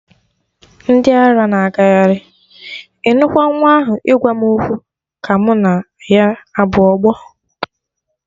Ndị ara na agagharị, ịnụkwa nwa ahụ ịgwa m okwu ka mụ na ya abụ ọgbọ.